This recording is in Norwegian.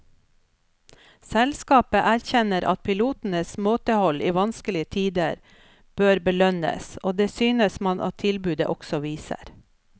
Selskapet erkjenner at pilotenes måtehold i vanskelige tider bør belønnes, og det synes man at tilbudet også viser.